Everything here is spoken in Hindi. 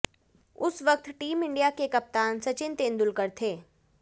उस वक्त टीम इंडिया के कप्तान सचिन तेंदुलकर थे